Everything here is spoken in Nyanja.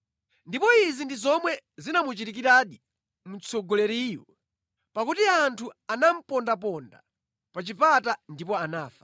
Ndipo izi ndi zomwe zinamuchitikiradi mtsogoleriyu, pakuti anthu anamupondaponda pa chipata ndipo anafa.